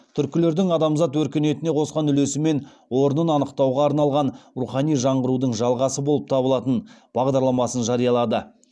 түркілердің адамзат өркениетіне қосқан үлесі мен орнын анықтауға арналған рухани жаңғырудың жалғасы болып табылатын бағдарламасын жариялады